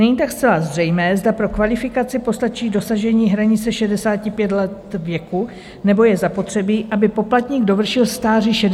Není tak zcela zřejmé, zda pro kvalifikaci postačí dosažení hranice 65 let věku, nebo je zapotřebí, aby poplatník dovršil stáří 66 let.